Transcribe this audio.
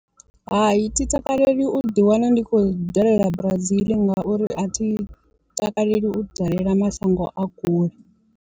Hai thi takaleli u ḓi wana ndi khou dalela Brazil ngauri a thi takaleli u dalela mashango a kule.